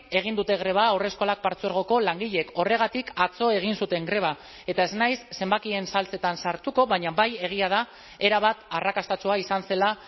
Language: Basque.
egin dute greba haurreskolak partzuergoko langileek horregatik atzo egin zuten greba eta ez naiz zenbakien saltsetan sartuko baina bai egia da erabat arrakastatsua izan zela